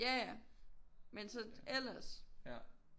Ja ja men så ellers